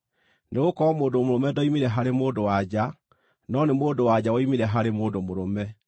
Nĩgũkorwo mũndũ mũrũme ndoimire harĩ mũndũ-wa-nja, no nĩ mũndũ-wa-nja woimire harĩ mũndũ mũrũme.